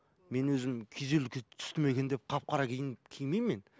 мен өзім күйзеліске түстім екен деп қап қара киім кимеймін мен